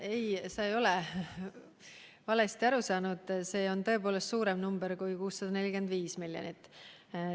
Ei, sa ei ole valesti aru saanud, see on tõepoolest suurem number kui 645 miljonit.